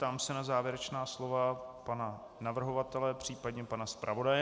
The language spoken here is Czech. Ptám se na závěrečná slova pana navrhovatele, případně pana zpravodaje.